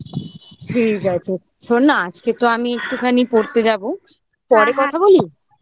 ঠিক আছে শোন না আজকে তো আমি একটুখানি পড়তে যাবো পরে কথা বলি